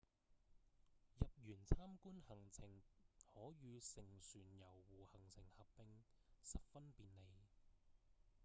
入園參觀行程可與乘船遊湖行程合併十分便利